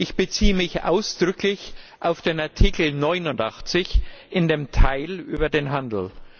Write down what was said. Ich beziehe mich ausdrücklich auf den Artikel 89 in dem Teil über den Handel.